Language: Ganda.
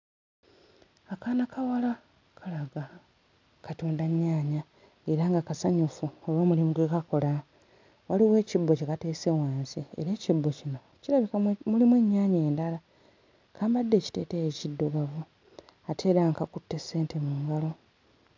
Akaana kawala kalaga katunda nnyaanya era nga kasanyufu olw'omulimu gwe kakola waliwo ekibbo kye bateese wansi era ekibbo kino kirabikwa mwe mulimu ennyaanya endala kambadde ekiteeteeyi ekiddugavu ate era nga kakutte ssente mu ngalo.